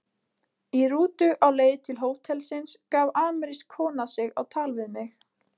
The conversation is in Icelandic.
Í rútu á leið til hótelsins gaf amerísk kona sig á tal við mig.